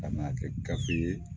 Ka na kɛ gafe ye